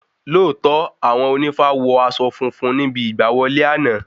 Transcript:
Lóòtọ́ Àwọn ònífá wọ aṣọ funfun níbi ìgbà wọlé àná